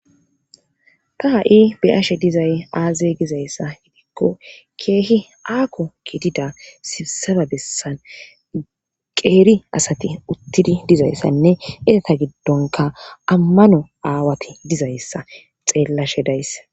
Ta ha'i be'ashe dizayssi aaze gizayssa gidikko keehi aaho gidida sisaba bessan qeeri asati utidi dizayssanne eeta gidonkka amano aawati dizayssa xeelashe days.